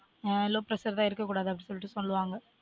அஹ் low pressure தான் இருக்க கூடாது அப்டி சொல்லிட்டு சொல்லுவாங்க